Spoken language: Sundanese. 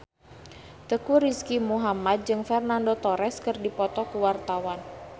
Teuku Rizky Muhammad jeung Fernando Torres keur dipoto ku wartawan